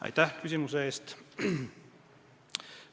Aitäh küsimuse eest!